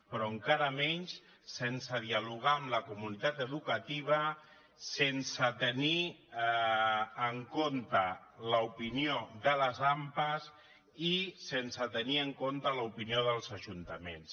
però encara menys sense dialogar amb la comunitat educativa sense tenir en compte l’opinió de les ampa i sense tenir en compte l’opinió dels ajuntaments